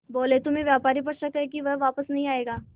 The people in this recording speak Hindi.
बोले तुम्हें व्यापारी पर शक है कि वह वापस नहीं आएगा